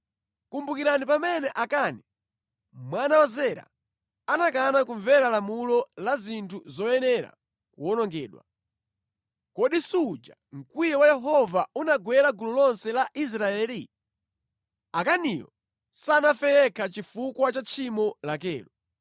Kumbukirani pamene Akani mwana wa Zera anakana kumvera lamulo la zinthu zoyenera kuwonongedwa, kodi suja mkwiyo wa Yehova unagwera gulu lonse la Israeli? Akaniyo sanafe yekha chifukwa cha tchimo lakelo.’ ”